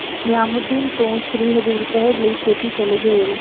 ਨਿਆਮੂਦੀਨ ਤੋਂ ਸ੍ਰੀ ਹਜ਼ੂਰ ਸਾਹਿਬ ਲਈ ਛੇਤੀ ਚਲੇਗੀ ਰੇਲ